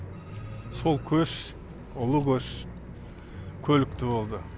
сол көш ұлы көш көлікті болды